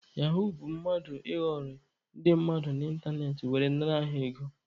Yahuu bụ mmadụ ịghọrị ndị mmadụ n'ịntanetị were nara ha ego.